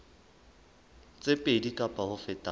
tse pedi kapa ho feta